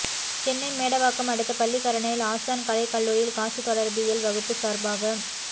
சென்னை மேடவாக்கம் அடுத்த பள்ளிக்கரணையில் ஆசான் கலை கல்லூரியில் காட்சித் தொடர்பியல் வகுப்பு சார்பாக